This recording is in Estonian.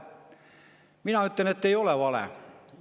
Mina ütlen, et ei ole vale.